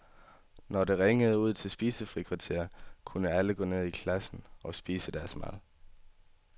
Når det ringede ud til spisefrikvarter, kunne alle gå ned i klassen og spise deres mad.